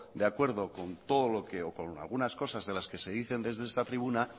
de acuerdo con todo lo que o con algunas cosas de las que se dicen desde esta tribuna